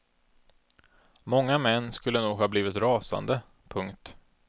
Många män skulle nog ha blivit rasande. punkt